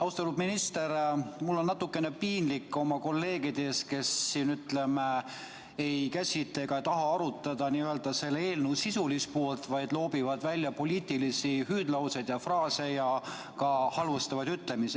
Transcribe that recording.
Austatud minister, mul on natukene piinlik oma kolleegide pärast, kes siin, ütleme, ei käsitle ega taha arutada n-ö selle eelnõu sisulist poolt, vaid loobivad poliitilisi hüüdlauseid ja fraase ja ka halvustavaid ütlemisi.